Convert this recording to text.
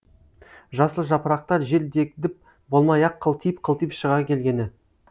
жасыл жапырақтар жер дегдіп болмай ақ қылтиып қылтиып шыға келгені